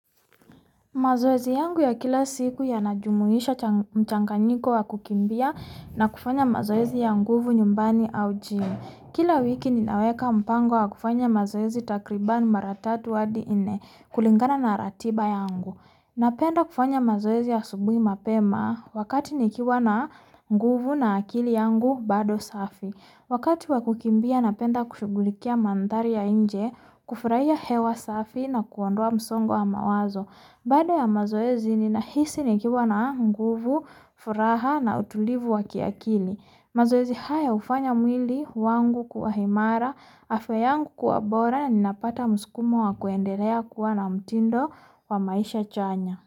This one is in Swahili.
Mazoezi yangu ya kila siku yanajumuisha mchanganyiko wa kukimbia na kufanya mazoezi ya nguvu nyumbani au gym kila wiki ninaweka mpango wa kufanya mazoezi takribani mara tatu wadi inne, kulingana na ratiba yangu napenda kufanya mazoezi ya asubui mapeema wakati nikiwa na nguvu na akili yangu bado safi wakati wa kukimbia napenda kushugulikia mandari ya inje, kufuraya hewa safi na kuondua msongo wa mawazo bada ya mazoezi nina hisi nikiwa na nguvu, furaha na utulivu wa kiakili mazoezi haya ufanya mwili wangu kuwahimara, afeyangu kuwabora na nina pata musukumo wa kuendeleya kua na mutindo wa maisha chanya.